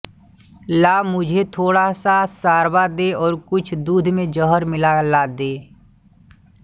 ला मुझे थोड़ासा शोरबा दे और कुछ दूध में जहर मिलाकर ला दे